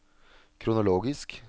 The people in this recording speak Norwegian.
kronologisk